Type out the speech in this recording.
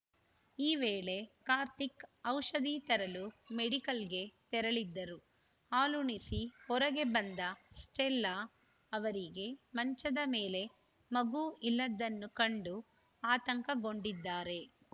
ಈ ವೇಳೆ ಕಾರ್ತಿಕ್‌ ಔಷಧಿ ತರಲು ಮೆಡಿಕಲ್‌ಗೆ ತೆರಳಿದ್ದರು ಹಾಲುಣಿಸಿ ಹೊರಗೆ ಬಂದ ಸ್ಟೆಲ್ಲಾ ಅವರಿಗೆ ಮಂಚದ ಮೇಲೆ ಮಗು ಇಲ್ಲದನ್ನು ಕಂಡು ಆತಂಕಗೊಂಡಿದ್ದಾರೆ